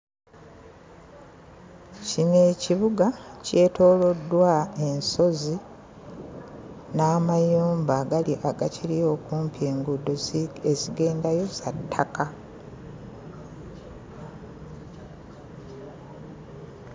Kino ekibuga kyetooloddwa ensozi n'amayumba agali agakiri okumpi enguudo zi ezigendayo za ttàka.